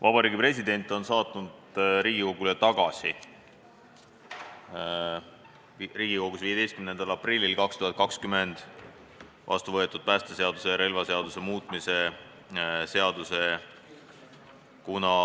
Vabariigi President on saatnud Riigikogule tagasi Riigikogus 15. aprillil 2020 vastu võetud päästeseaduse ja relvaseaduse muutmise seaduse.